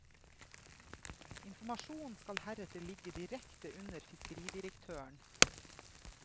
Informasjonen skal heretter ligge direkte under fiskeridirektøren.